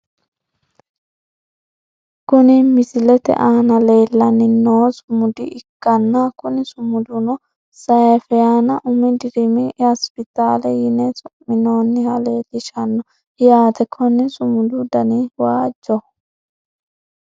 Kuni misilete aana leellanni noohu sumuda ikkanna kuni sumuduno seyfaana umi dirimi hospitaale yine su'minoonniha leelishanno yaate, konni sumudu danino waajjoho.